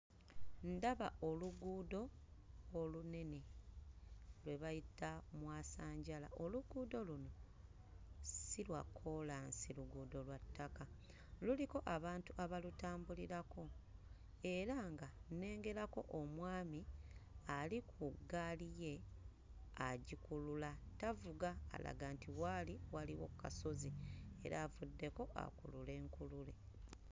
Ndaba oluguudo olunene lwe bayita lwe bayita mwasanjala. Oluguudo luno si lwa kkoolansi, luguudo lwa ttaka luliko abantu abalutambulirako era nga nnengerako omwami ali ku ggaali ye agikulula tavuga alaga nti waali waliwo kkasozi era avuddeko akulule nkulule.